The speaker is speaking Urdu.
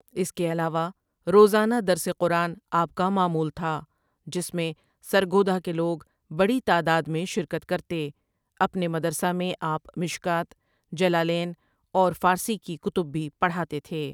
اس کےعلاوہ روزانہ درس قرآن آپ کامعمول تھاجس میں سرگودھاکےلوگ بڑی تعدادمیں شرکت کرتے اپنےمدرسہ میں آپ مشکوة، جلالین اورفارسی کی کتب بھی پڑھاتےتھے ۔